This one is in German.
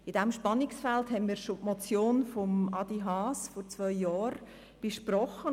In diesem Spannungsfeld hatten wir vor zwei Jahren schon die Motion von Adrian Haas () besprochen.